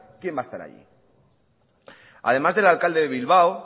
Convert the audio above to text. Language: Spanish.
quién va a estar allí además del alcalde de bilbao